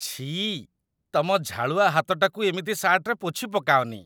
ଛିଃ । ତମ ଝାଳୁଆ ହାତଟାକୁ ଏମିତି ସାର୍ଟରେ ପୋଛିପକାଅନି ।